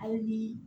Aw bi